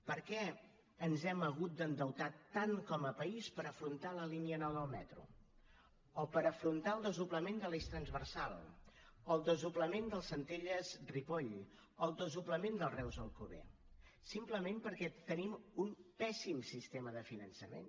per què ens hem hagut d’endeutar tant com a país per afrontar la línia nou del metro o per afrontar el desdoblament de l’eix transversal o el desdoblament del centelles ripoll o el desdoblament del reus alcover simplement perquè tenim un pèssim sistema de finançament